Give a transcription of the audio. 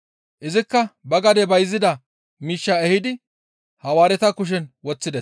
Izikka ba gade bayzida miishshaa ehidi Hawaareta kushen woththides.